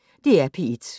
DR P1